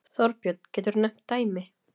Þorbjörn: Geturðu nefnt dæmi?